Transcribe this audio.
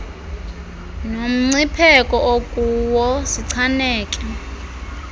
somncipheko okuwo sichaneke